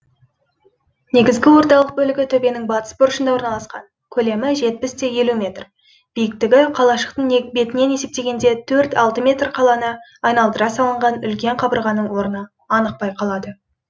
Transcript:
негізгі орталық бөлігі төбенің батыс бұрышында орналасқан көлемі жетпіс те елу метр биіктігі қалашықтың бетінен есептегенде төрт алты метр қаланы айналдыра салынған үлкен қабырғаның орны анық байқалады